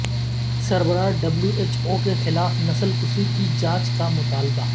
سربراہ W H O کیخلاف نسل کشی کی جانچ کا مطالبہ